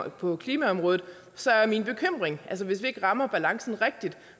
og på klimaområdet så er min bekymring at hvis vi ikke rammer balancen rigtigt